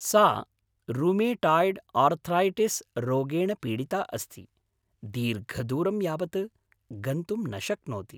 सा rheumatoid arthritis रोगेण पीडिता अस्ति, दीर्घदूरं यावत् गन्तुं न शक्नोति।